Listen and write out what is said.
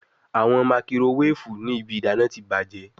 Awọn makirowefu ni ibi idana ti bajẹ